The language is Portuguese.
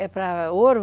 É para ouro?